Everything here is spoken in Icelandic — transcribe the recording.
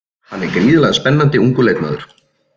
Hann er gríðarlega spennandi ungur leikmaður.